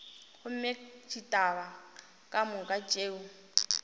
gomme ditaba ka moka tšeo